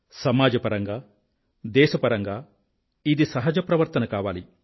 సమాజపరంగా దేశపరంగా ఇది సహజ ప్రవర్తన కావాలి